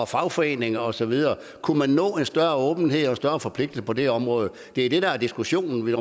fagforeninger og så videre kunne man nå en større åbenhed og forpligtelse på det område det er det der er diskussionen